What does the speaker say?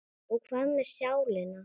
Og hvað með sálina?